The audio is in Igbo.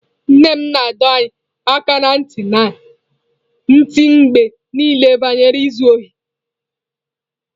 Nne m na-adọ anyị aka ná ntị mgbe niile banyere izu ohi.